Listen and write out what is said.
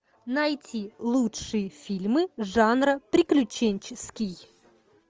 найти лучшие фильмы жанра приключенческий